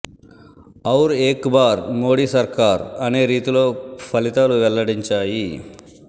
ఔర్ ఏక్ బార్ మోడీ సర్కార్ అనే రీతిలో ఫలితాలు వెల్లడించాయి